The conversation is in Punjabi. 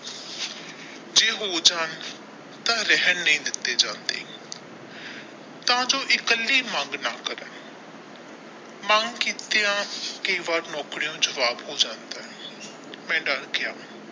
ਜੇ ਹੋ ਜਾਣ ਤੇ ਨਹੀ ਦਿੱਤੇ ਜਾਂਦੇ ਤਾ ਜੋ ਇਕੱਲੀ ਮੰਗ ਨਾ ਕਰਨ ਮੰਗ ਕੀਤਾ ਯਾ ਕਈ ਵਾਰ ਨੌਕਰੀ ਤੋਂ ਜਵਾਬ ਹੋ ਜਾਂਦਾ ਹੈ ਮੈ ਡਰ ਗਿਆ।